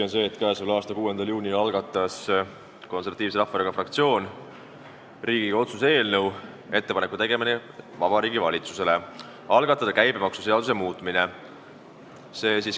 On tõsi, et k.a 6. juunil esitas Konservatiivse Rahvaerakonna fraktsioon Riigikogu otsuse "Ettepaneku tegemine Vabariigi Valitsusele algatada käibemaksuseaduse muutmine" eelnõu.